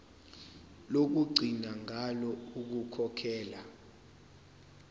lokugcina ngalo ukukhokhela